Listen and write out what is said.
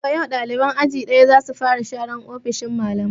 Daga yau ɗaliban aji ɗaya za su fara sharan ofishin malamai!